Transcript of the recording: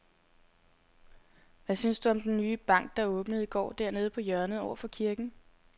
Hvad synes du om den nye bank, der åbnede i går dernede på hjørnet over for kirken?